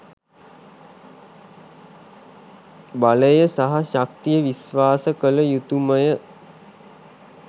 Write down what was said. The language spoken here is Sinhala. බලය සහ ශක්තිය විශ්වාස කළ යුතුමය.